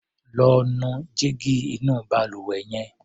Lọ́ nu jígí inú balùwẹ̀ yẹn.